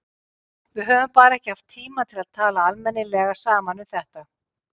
Við höfum bara ekki haft tíma til að tala almennilega saman um þetta.